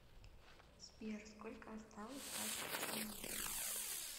сбер сколько осталось до отключения